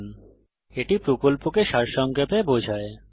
এটি কথ্য টিউটোরিয়াল প্রকল্পকে সারসংক্ষেপে বোঝায়